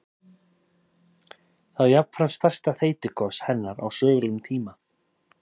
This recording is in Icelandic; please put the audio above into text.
Það er jafnframt stærsta þeytigos hennar á sögulegum tíma.